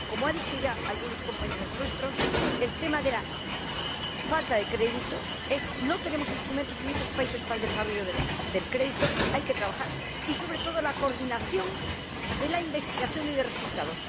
En primer lugar, como han dicho ya algunos compañeros nuestros, el tema de la falta de crédito —no tenemos instrumentos en muchos países para el desarrollo del crédito, hay que trabajar en ello— y, sobre todo, la coordinación de la investigación y de los resultados.